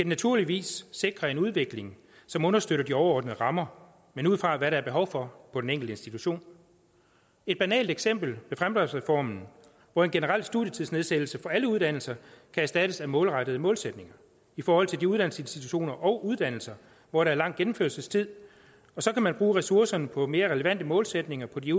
naturligvis sikre en udvikling som understøtter de overordnede rammer men ud fra hvad der er behov for på den enkelte institution et banalt eksempel er fremdriftsreformen hvor en generel studietidsnedsættelse for alle uddannelser kan erstattes af målrettede målsætninger i forhold til de uddannelsesinstitutioner og uddannelser hvor der er lang gennemførelsestid så kan man bruge ressourcerne på mere relevante målsætninger på de